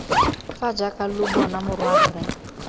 fa jaaka lo bona morwarre